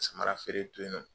Samara feere to yen nɔ.